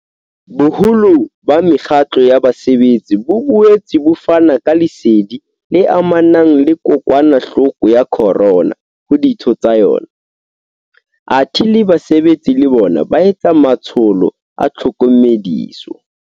Boholo ba mekgatlo ya basebetsi bo boetse bo fana ka lesedi le amanang le kokwanahloko ya corona ho ditho tsa yona, athe le basebetsi le bona ba etsa matsholo a tlhokomediso.